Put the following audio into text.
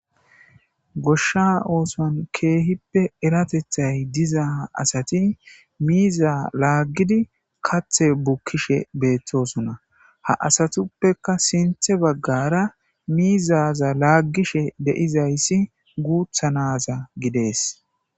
Goshsha ooson keehippe eratethay diza asati miiza laaggidi kathe bukkishe beettosunna ha asatuppeka sinthe baggara miizaza laaggishe deizayssi guuthanaza gidees.